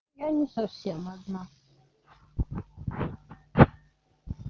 я не совсем одна